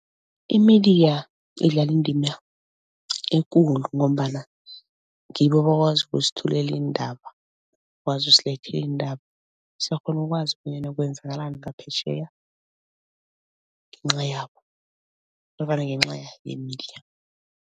I-media idlala indima ekulu ngombana ngibo abakwazi ukusithulela iindaba, bakwazi usilethela iindaba. Siyakghona ukwazi bonyana kwenzakalani ngaphetjheya ngenca yabo nofana ngenca ye-media.